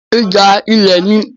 ìjà ilẹ̀ ni.